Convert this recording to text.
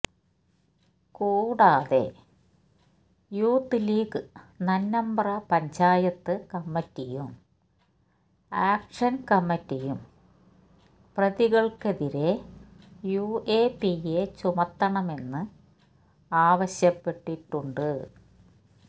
കൂടാതെ യൂത്ത്ലീഗ് നന്നമ്പ്ര പഞ്ചായത്ത് കമ്മിറ്റിയും ആക്ഷന് കമ്മിറ്റിയും പ്രതികള്ക്കെതിരെ യു എ പി എ ചുമത്തണമെന്ന് ആവശ്യപ്പെട്ടിട്ടുണ്ട്